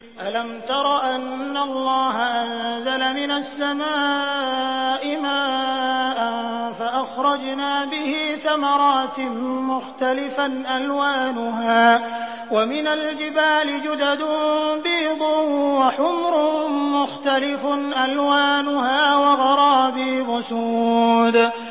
أَلَمْ تَرَ أَنَّ اللَّهَ أَنزَلَ مِنَ السَّمَاءِ مَاءً فَأَخْرَجْنَا بِهِ ثَمَرَاتٍ مُّخْتَلِفًا أَلْوَانُهَا ۚ وَمِنَ الْجِبَالِ جُدَدٌ بِيضٌ وَحُمْرٌ مُّخْتَلِفٌ أَلْوَانُهَا وَغَرَابِيبُ سُودٌ